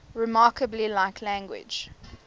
remarkably like language